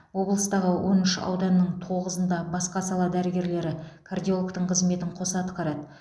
облыстағы он үш ауданның тоғызында басқа сала дәрігерлері кардиологтың қызметін қоса атқарады